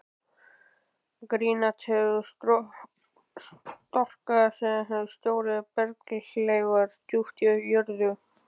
Granít hefur storknað sem stórir berghleifar djúpt í jörðu.